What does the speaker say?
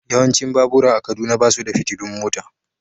Yawancin babura a Kaduna ba su da fitilun mota.